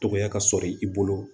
Dɔgɔya ka sɔrɔ i bolo